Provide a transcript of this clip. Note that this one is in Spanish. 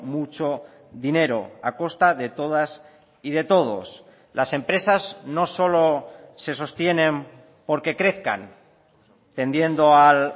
mucho dinero a costa de todas y de todos las empresas no solo se sostienen porque crezcan tendiendo al